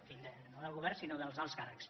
en fi no del govern sinó dels alts càrrecs